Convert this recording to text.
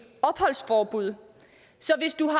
opholdsforbud så hvis du har